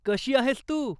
कशी आहेस तू?